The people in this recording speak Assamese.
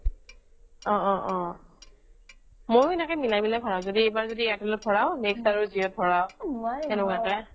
অহ অহ অহ মইয়ো সেনেকৈ মিলাই মিলাই ভৰাও এইবাৰ যদি airtel ত ভৰাও next আৰু jio ত ভৰাও এনেকুৱাকে